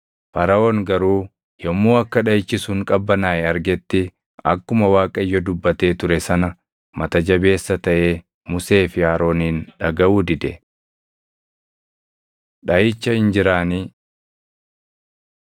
Faraʼoon garuu yommuu akka dhaʼichi sun qabbanaaʼe argetti akkuma Waaqayyo dubbatee ture sana mata jabeessa taʼee Musee fi Aroonin dhagaʼuu dide. Dhaʼicha Injiraanii